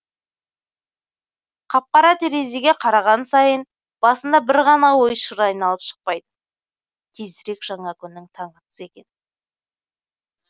қап қара терезеге қараған сайын басында бір ғана ой шыр айналып шықпайды тезірек жаңа күннің таңы атса екен